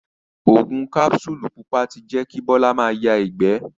Ògùn kapsulu pupa ti jẹ kí Bola ma ya ìgbé.